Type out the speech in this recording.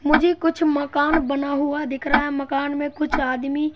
मुझे कुछ मकान बना हुआ दिख रहा है मकान में कुछ आदमी--